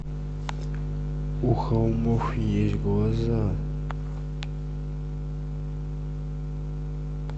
у холмов есть глаза